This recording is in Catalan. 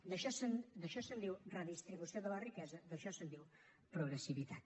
d’això se’n diu redistribució de la riquesa d’això se’n diu progressivitat